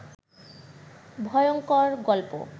ভয়ংকর গল্প